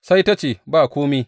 Sai ta ce, Ba kome.